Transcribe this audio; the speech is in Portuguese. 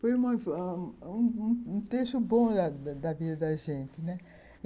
Foi um trecho bom da vida da gente, né